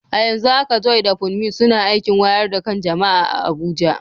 A yanzu haka Joy da Funmi suna aikin wayar da kan jama’a a Abuja.